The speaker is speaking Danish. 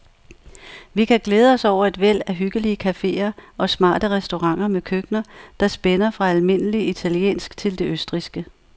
Vi kan glæde os over et væld af hyggelige caféer og smarte restauranter med køkkener, der spænder fra almindelig italiensk til det østrigske.